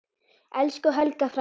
Elsku Helga frænka.